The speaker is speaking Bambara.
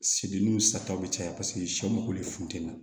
Sibi n'u sataw bi caya sɛw ko de funtɛni na